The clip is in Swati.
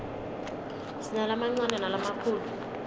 sinalamancane nalamakhulu